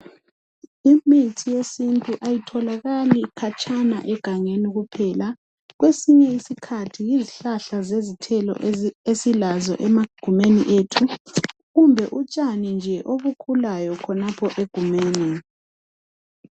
Imithi yesintu ayatholakali khatshana egangeni kuphela, kwesinye isikhathi yizihlahla zezithelo esilazo emagumeni ethu kumbe utshani nje obukhulayo khonapha egumeni.